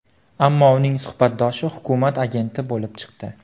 Ammo uning suhbatdoshi hukumat agenti bo‘lib chiqdi.